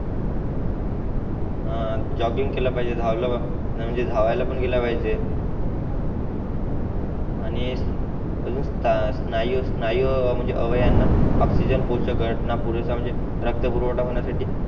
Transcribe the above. हान जॉगिंग केला पाहिजे धावल न म्हणजे धावायला पण गेला पाहिजे हो हो आणि अजून स्थायू स्नायू स्नायी अवयवांना ऑक्सिजन पोच घटना पुरेसा म्हणजे रक्त पुरवठा होन्या साठी